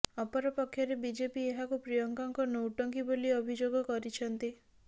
ଅପରପକ୍ଷରେ ବିଜେପି ଏହାକୁ ପ୍ରିୟଙ୍କାଙ୍କ ନୌଟଙ୍କୀ ବୋଲି ଅଭିଯୋଗ କରିଛନ୍ତି